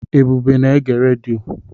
Ebube na-ege redio.